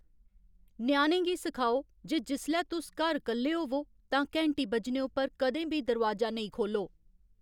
ञ्याणें गी सखाओ जे जिसलै तुस घर कल्ले होवो तां घैंटी बज्जने उप्पर कदें बी दरोआजा नेईं खोह्ल्लो